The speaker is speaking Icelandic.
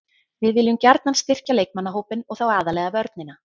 Við viljum gjarnan styrkja leikmannahópinn og þá aðallega vörnina.